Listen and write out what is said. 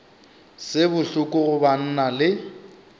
se bohloko go banna le